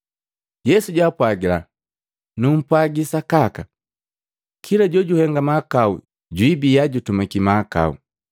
Yesu jaapwagila, “Numpwaji sakaka, kila jojuhenga mahakau jwibiya jutumaki mahakau.